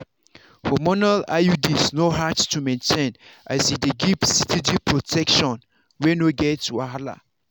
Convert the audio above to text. hormonal iuds no hard to maintain as e dey give steady protection wey no get wahala.